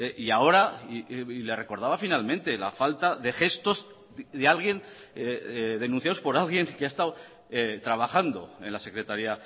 y ahora le recordaba finalmente la falta de gestos de alguien denunciados por alguien que ha estado trabajando en la secretaría